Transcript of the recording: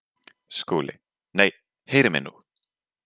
SKÚLI: Nei, heyrið mig nú!